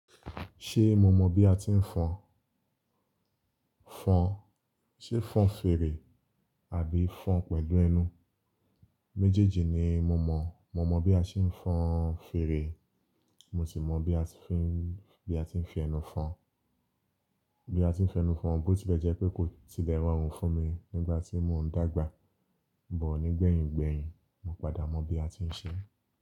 Ṣé mo mọ̀ bí a ti ń fọn? Fọn, ṣé fọn fèrè àbí fọn pẹ̀lú ẹnu? Méjèèjì ni mo mọ̀. Mo mọ̀ bí a ṣe ń fọn fèrè, mo sì mọ̀ bí a ti ń fi, bí a ti ń fi ẹnu fọn. Bí a ti ń fi ẹnu fọn, bó ti le jẹ́ pé kò tilẹ̀ rọrùn fún mi nígbà tí mò ń dàgbà, but ní gbẹ̀yìn gbẹ̀yìn mo padà mọ̀ bí a ti ń ṣe é.